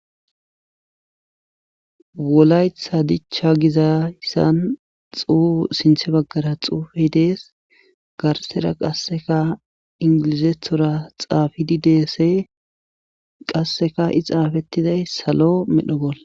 wolaytha dichcha gizayssan sinthe baggara xuufe dees garsera qasseka ingilizethora xaafidi deesse qasseka i xaafettiday salo medho bolla.